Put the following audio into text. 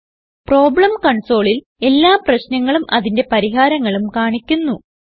problem കൺസോളിൽ എല്ലാ പ്രശ്നങ്ങളും അതിന്റെ പരിഹാരങ്ങളും കാണിക്കുന്നു